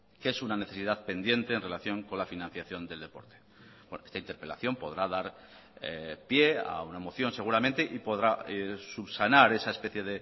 que es una necesidad pendiente en relación con la financiación del deporte esta interpelación podrá dar pie a una moción seguramente y podrá subsanar esa especie